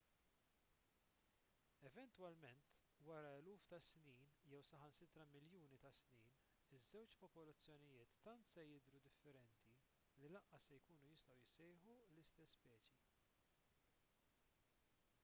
eventwalment wara eluf ta' snin jew saħansitra miljuni ta' snin iż-żewġ popolazzjonijiet tant se jidhru differenti li lanqas se jkunu jistgħu jissejħu l-istess speċi